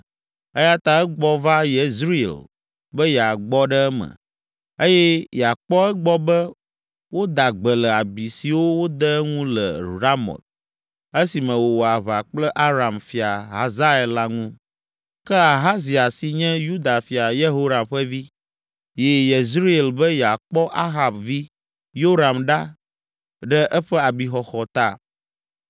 Eya ta egbɔ va Yezreel be yeagbɔ ɖe eme, eye yeakpɔ egbɔ be woda gbe le abi siwo wode eŋu le Ramot, esime wòwɔ aʋa kple Aram fia Hazael la ŋu. Ke Ahazia si nye Yuda fia Yehoram ƒe vi, yi Yezerel be yeakpɔ Ahab vi Yoram ɖa ɖe eƒe abixɔxɔ ta.